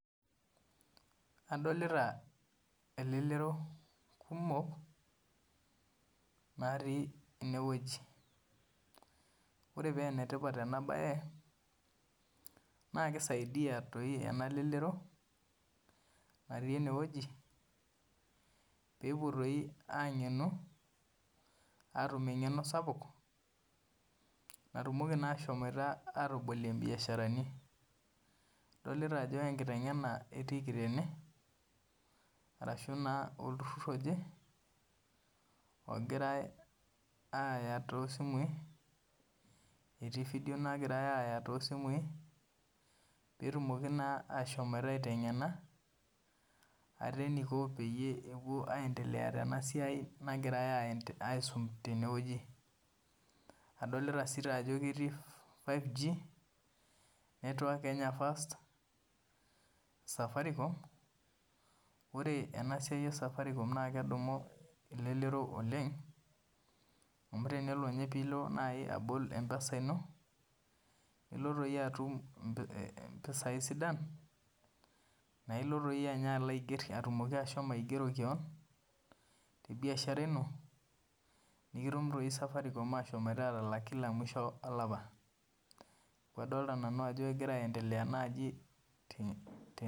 Adolita elelero kumok natii enewueji ore paa enetipat ena baye naa keisiadiia ena lelero nati ene wueji peetum eng'eno sapuk natumoki atabolie imbiasharani ashuu naa olturur oje ogorai aaya toosimui peetumi naa ashom aiteng'ena ate eneiko peetum aashom ataas tebe wueji Adolita sii ajo ketii 5G Safaricom ore ena siai esafaricom naa kedumu elelero oleng amu tenibol empesa ino naa itum impisai sidan naa itum Safaricom atalak kila mwisho olapa